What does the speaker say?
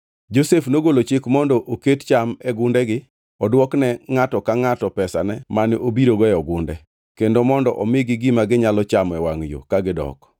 Kane Josef owuok irgi, noywak ahinya, bangʼe noduogo irgi mochako wuoyo kodgi. Nokawo Simeon mi otweye e nyimgi ka gineno.